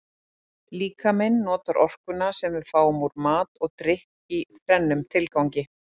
Líkaminn notar orkuna sem við fáum úr mat og drykk í þrennum tilgangi.